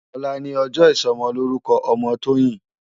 Òlá ni òjò isòmòlórúkò òmò Toyin